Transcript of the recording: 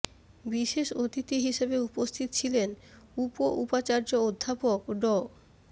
বিষেশ অতিথি হিসেবে উপস্থিত ছিলেন উপ উপাচার্য অধ্যাপক ড